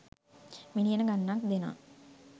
මිලියන ගණනක් දෙනා